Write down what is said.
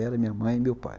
Ela, minha mãe e meu pai.